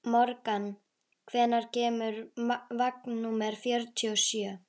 Morgan, hvenær kemur vagn númer fjörutíu og sjö?